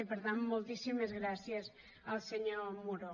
i per tant moltíssimes gràcies al senyor muro